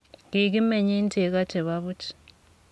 Kikimeny eng cheko che bo buch.